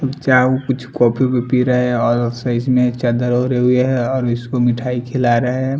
चा वो कुछ कॉफ़ी वोफ्फी पी रहा हैं साइज में चद्दर ओढे हैं और इसको मिठाई खिला रहा हैं।